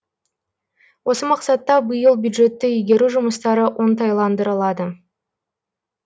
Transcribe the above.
осы мақсатта биыл бюджетті игеру жұмыстары оңтайландырылады